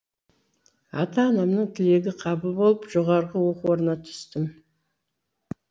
ата анамның тілегі қабыл болып жоғарғы оқу орнына түстім